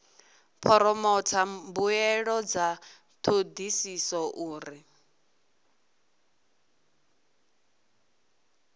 phoromotha mbuelo dza thodisiso uri